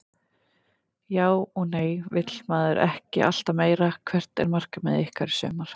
Já og nei vill maður ekki alltaf meira Hvert er markmið ykkar í sumar?